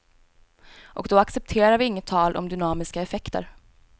Och då accepterar vi inget tal om dynamiska effekter.